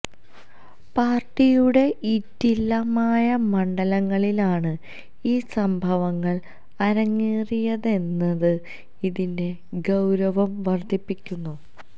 പാർട്ടിയുടെ ഈറ്റില്ലമായ മണ്ഡലങ്ങളിലാണ് ഈ സംഭവങ്ങൾ അരങ്ങേറിയതെന്നത് ഇതിന്റെ ഗൌരവം വർധിപ്പിക്കുന്നു